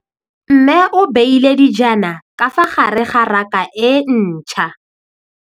Mmê o beile dijana ka fa gare ga raka e ntšha.